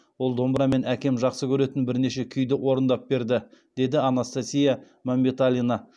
ол домбырамен әкем жақсы көретін бірнеше күйді орындап берді деді анастасия мәмбеталина